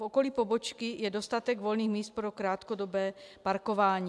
V okolí pobočky je dostatek volných míst pro krátkodobé parkování.